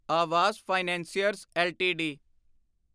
Awas financiers LTD